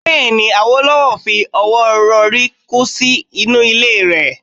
Bẹ́ẹ̀ ni, Awólọ́wọ̀ fi ọwọ́ rọrí kú sí inú ilé rẹ̀ ni.